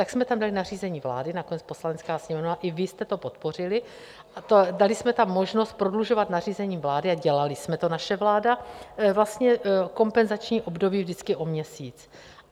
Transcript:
Tak jsme tam dali nařízení vlády, nakonec Poslanecká sněmovna i vy jste to podpořili, dali jsme tam možnost prodlužovat nařízení vlády a dělali jsme to, naše vláda, vlastně kompenzační období vždycky o měsíc.